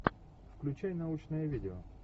включай научное видео